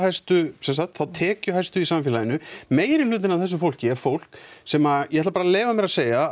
þá tekjuhæstu í samfélaginu meirihlutinn af þessu fólki er fólk sem ég ætla bara að leyfa mér að segja